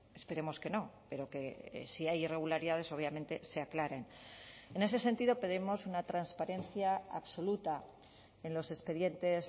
esperemos que no pero que si hay irregularidades obviamente se aclaren en ese sentido pedimos una transparencia absoluta en los expedientes